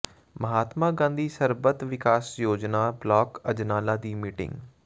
ਮਹਾਤਮਾ ਗਾਂਧੀ ਸਰਬੱਤ ਵਿਕਾਸ ਯੋਜਨਾ ਬਲਾਕ ਅਜਨਾਲਾ ਦੀ ਮੀਟਿੰਗ